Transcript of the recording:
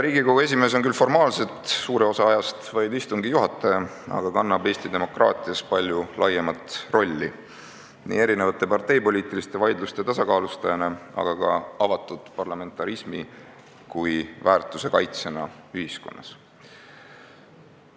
Riigikogu esimees on formaalselt suure osa ajast küll vaid istungi juhataja, aga ta kannab Eesti demokraatias palju laiemat rolli, nii erinevate parteipoliitiliste vaidluste tasakaalustajana, aga ka avatud parlamentarismi kui väärtuse kaitsjana ühiskonnas.